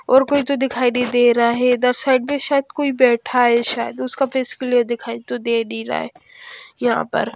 और कोई तो दिखाई नहीं दे रहा है इधर साइड पे शायद कोई बैठा है शायद उसका फेस क्लियर दिखाई तो दे नहीं रहा है यहां पर --